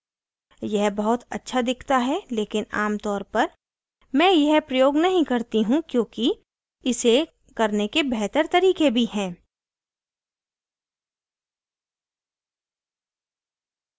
यह बहुत अच्छा दिखता है लेकिन आमतौर पर मैं यह प्रयोग नहीं करती हूँ क्योंकि इसे करने के बेहतर तरीके भी हैं